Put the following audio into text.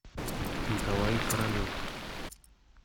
николай королев